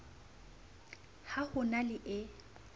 ha ho na le e